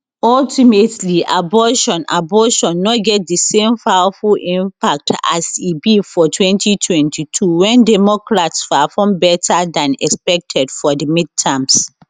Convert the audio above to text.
ultimately abortion abortion no get di same powerful impact as e be for twenty twenty-two wen democrats perform better dan expected for di midterms